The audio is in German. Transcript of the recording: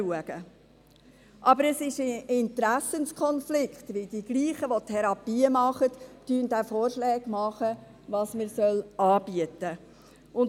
Das ist aber ein Interessenkonflikt, weil dieselben, die die Therapien durchführen, auch Vorschläge machen, was man anbieten soll.